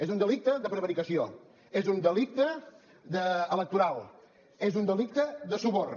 és un delicte de prevaricació és un delicte electoral és un delicte de suborn